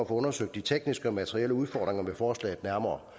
undersøgt de tekniske og materielle udfordringer ved forslaget nærmere